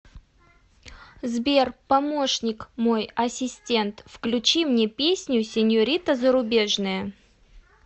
сбер помощник мой ассистент включи мне песню сеньорита зарубежная